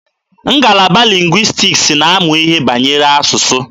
Ngalaba lingwistiks na-amụ ihe banyere asụsụ.